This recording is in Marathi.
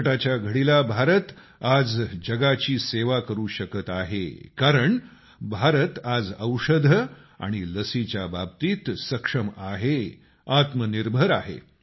संकटाच्या घडीला भारत आज जगाची सेवा करू शकत आहे कारण भारत आज औषधे आणि लसीच्या बाबतीत सक्षम आहे आत्मनिर्भर आहे